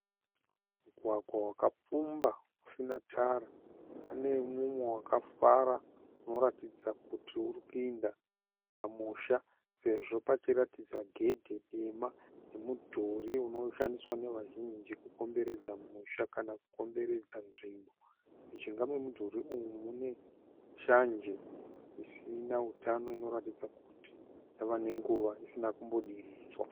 Mugwagwa wakapfumbira usina tara. Pane mumwe wakafara unoratidza kuti urikuenda pamusha. Sezvo pachiratidza gedhi dema nemudhuri unoshandiswa nevazhinji kukomberedza musha kana kukomberedza nzvimbo. Mujinga memudhuri uyu mune shanje isina utano inoratidza kuti yave nenguvai isina kumbodiridzwa.